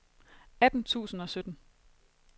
atten tusind og sytten